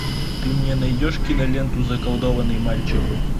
ты мне найдешь киноленту заколдованный мальчик